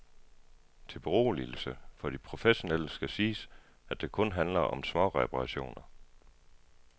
Til beroligelse for de professionelle skal siges, at det kun handler om småreperationer.